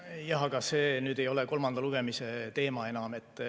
Jah, aga see nüüd ei ole kolmanda lugemise teema enam.